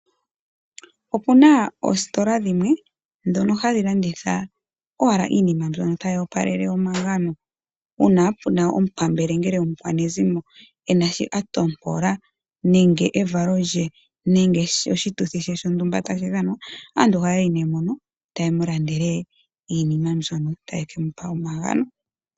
Opuna oositola dhono hadhi landitha owala iinima yimwe mbyono tayi opalele omagano, uuna puna omu pambele nenge omukwanezimo ena shi a ntompola nenge evalo lye, nenge oshituthi she shontumba tashi dhanwa, aantu ohaya yi nee mono